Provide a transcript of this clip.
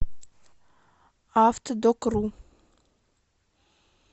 автодокру